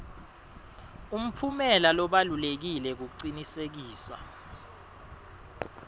umphumela lobalulekile kucinisekisa